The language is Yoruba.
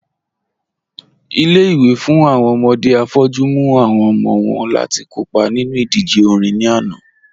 Ilé-ìwé fún awọn ọmọdé afọ́jù mú awọn ọmọ wọn láti kọ́pa nínu idíjè orin ní ànà